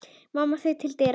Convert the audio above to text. Mamma þaut til dyra.